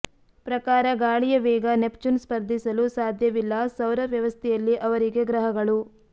ಪ್ರಕಾರ ಗಾಳಿಯ ವೇಗ ನೆಪ್ಚೂನ್ ಸ್ಪರ್ಧಿಸಲು ಸಾಧ್ಯವಿಲ್ಲ ಸೌರ ವ್ಯವಸ್ಥೆಯಲ್ಲಿ ಅವರಿಗೆ ಗ್ರಹಗಳು